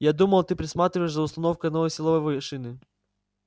я думал ты присматриваешь за установкой новой силовой шины